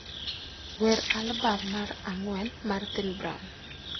wer albam mar ang'wen mar Thin Brown